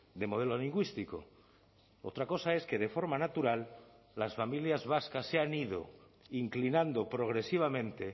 de modelo lingüístico otra cosa es que de forma natural las familias vascas se han ido inclinando progresivamente